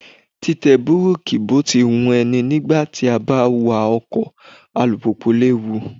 Títẹ búrákì bó ti wu ẹni nígbà tí a bá wa ọkọ̀ alùpùpù léwu.